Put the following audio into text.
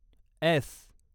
S